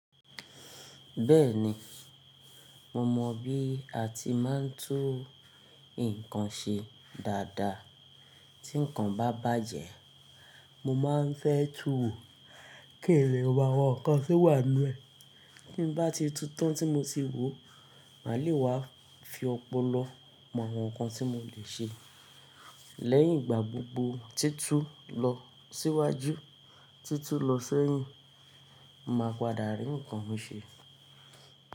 Bẹ́ẹ̀ni, mo mọ̀ bí a ti máa ń tún nǹkan ṣe dáadáa. Tí nǹkan bá bàjẹ́, mo máa ń fẹ́ tùú kí n lè wo àwọn nǹkan tí ó wà nínú ẹ̀. Tí n bá ti tutàn tí mo ti wò, mà lè wá fi ọpọlọ mọ àwọn nǹkan tí mo lè ṣe. Lẹ́yìn ìgbà gbogbo, títú lọ síwájú títú lọ sẹ́yìn, mà padà rí nǹkan mi ṣẹ.